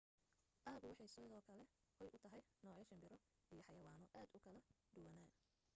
aagu waxay sidoo kale hoy u tahay noocyo shimbiro iyo xayawaano aad u kala duwana